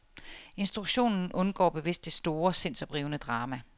Instruktionen undgår bevidst det store, sindsoprivende drama.